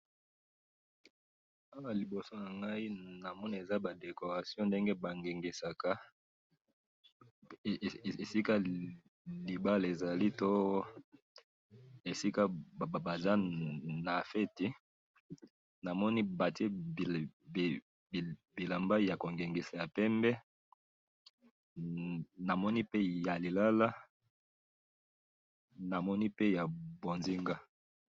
awa na liboso nangayi namoni eza ba decoration ndenge ba ngengisaka esika libala ezali to esika baza na feti namoni batiye bilamba yako ngengisa ya pembe namoni pe ya lilala namoni pe ya mbonzinga